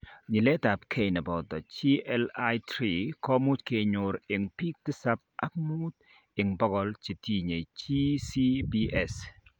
Nyiletabgei neboto GLI3 komuch kenyor en biik tisab ak muut en bogol chetinye GCPS